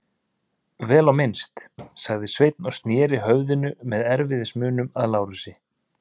Vel á minnst, sagði Sveinn og sneri höfðinu með erfiðismunum að Lárusi.